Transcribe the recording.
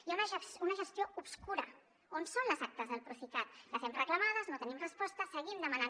hi ha una gestió obscura on són les actes del procicat les hem reclamades no tenim resposta seguim demanant